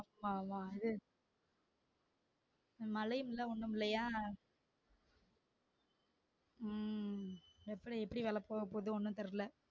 ஆமா ஆமா அது மழையுமில்ல ஒன்னுமில்லையா உம் அப்புறம் எப்படி வெளப்போகபோகுதோ ஒன்னும் தெரில